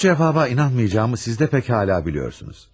Bu cevaba inanmayacağımı siz de pek hala biliyorsunuz.